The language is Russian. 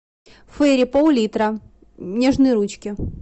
фейри пол литра нежные ручки